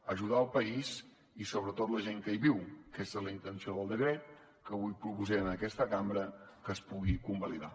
ajudar el país i sobretot la gent que hi viu aquesta és la intenció del decret que avui proposem en aquesta cambra que es pugui convalidar